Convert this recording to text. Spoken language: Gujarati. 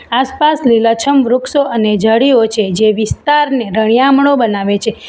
આસપાસ લીલાછમ વૃક્ષો અને ઝાડીઓ છે જે વિસ્તારને રળિયામણો બનાવે છે.